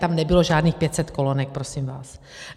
Tam nebylo žádných 500 kolonek prosím vás.